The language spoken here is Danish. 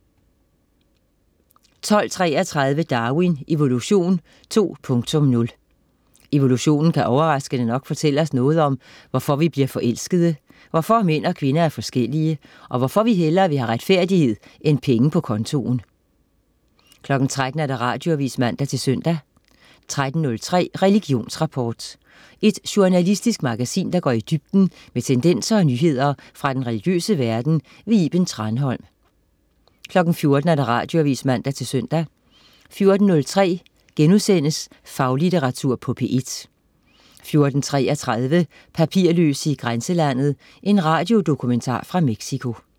12.33 Darwin: Evolution 2.0. Evolutionen kan overraskende nok fortælle os noget om, hvorfor vi bliver forelskede, hvorfor mænd og kvinder er forskellige, og hvorfor vi hellere vi have retfærdighed end penge på kontoen 13.00 Radioavis (man-søn) 13.03 Religionsrapport. Et journalistisk magasin, der går i dybden med tendenser og nyheder fra den religiøse verden. Iben Thranholm 14.00 Radioavis (man-søn) 14.03 Faglitteratur på P1* 14.33 Papirløse i grænselandet. En radiodokumentar fra Mexico